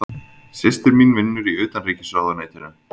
Systir mín vinnur í Utanríkisráðuneytinu.